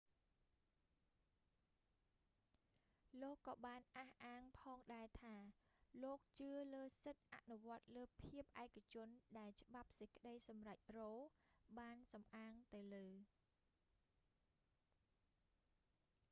លោកក៏បានអះអាងផងដែរថា លោកជឿលើសិទ្ធិអនុវត្តលើភាពឯកជនដែលច្បាប់សេចក្តីសម្រេច រ៉ូ roe បានសំអាងទៅលើ